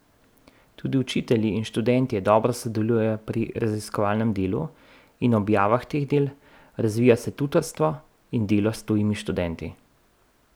Tudi učitelji in študentje dobro sodelujejo pri raziskovalnem delu in objavah teh del, razvija se tutorstvo in delo s tujimi študenti.